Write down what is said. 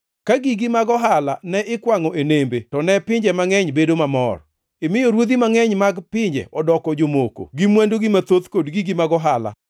Ka gigi mag ohala ne ikwangʼo e nembe to ne pinje mangʼeny obedo mamor, imiyo ruodhi mangʼeny mag pinje odoko jomoko gi mwandugi mathoth kod gigi mag ohala.